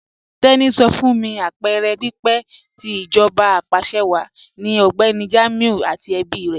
Teni sọ fún mí apẹẹrẹ pípẹ̀ tì íjọba apàṣẹwàá ni Ọgbẹni Jamiu àti ẹ̀bí rè.